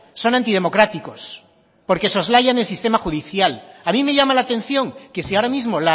son antidemocráticos porque soslayan el sistema judicial a mí me llama la atención que si ahora mismo